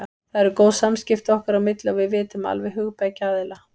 Það eru góð samskipti okkar á milli og við vitum alveg hug beggja aðila.